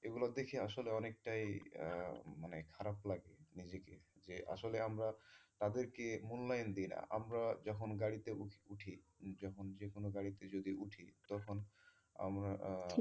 এগুলো দেখে আসলে অনেকটাই আহ মানে খারাপ লাগে নিজেকে যে আসলে আমরা তাদের কে মুল্যায়ন দেই না আমরা যখন গাড়িতে উঠি যখন যেকোনো গাড়িতে উঠি তখন আমরা,